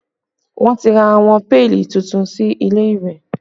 Wọn ti ra àwọn péèlì tuntun sí ilé ìwẹ̀